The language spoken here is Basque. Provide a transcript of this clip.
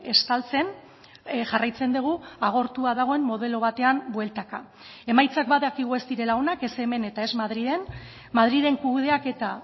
estaltzen jarraitzen dugu agortua dagoen modelo batean bueltaka emaitzak badakigu ez direla onak ez hemen eta ez madrilen madrilen kudeaketa